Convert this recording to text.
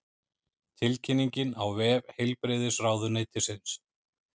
Tilkynningin á vef heilbrigðisráðuneytisins